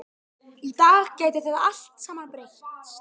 Í dag gæti þetta allt saman breyst.